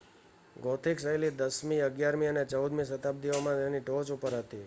gothic શૈલી 10મી -11મી અને 14મી શતાબ્દીઓમાં તેની ટોચ ઉપર હતી